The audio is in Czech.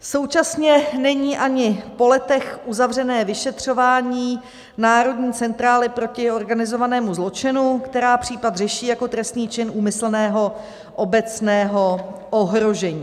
Současně není ani po letech uzavřené vyšetřování Národní centrály proti organizovanému zločinu, která případ řeší jako trestný čin úmyslného obecného ohrožení.